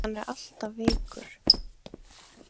Hann var alltaf veikur.